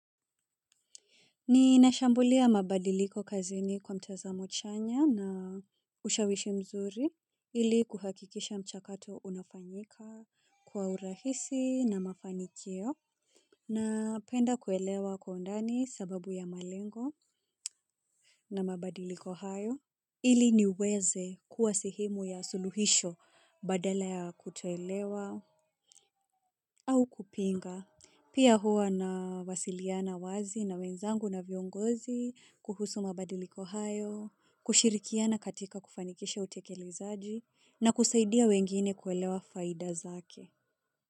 Ninashambulia mabadiliko kazini kwa mtazamo chanya na ushawishi mzuri ili kuhakikisha mchakato unafanyika kwa urahisi na mafanikio na penda kuelewa kwa undani sababu ya malengo na mabadiliko hayo ili niweze kuwa sehemu ya suluhisho badala ya kutoelewa au kupinga. Pia huwa na wasiliana wazi na wenzangu na viongozi kuhusu mabadiliko hayo, kushirikiana katika kufanikisha utekele zaji na kusaidia wengine kuelewa faida zake.